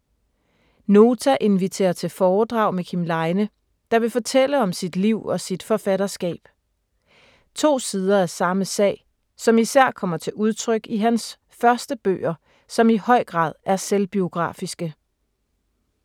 Nota inviterer til foredrag med Kim Leine, der vil fortælle om sit liv og sit forfatterskab. To sider af samme sag, som især kommer til udtryk i hans første bøger som i høj grad er selvbiografiske.